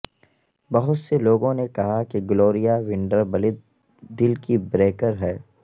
بہت سے لوگوں نے کہا کہ گلوریا ونڈربلت دل کی بریکر ہے